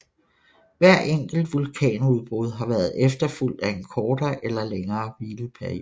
Hvert enkelt vulkanudbrud har været efterfulgt af en kortere eller længere hvileperiode